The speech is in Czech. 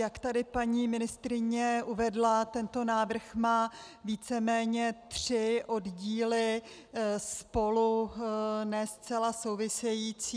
Jak tady paní ministryně uvedla, tento návrh má víceméně tři oddíly spolu ne zcela související.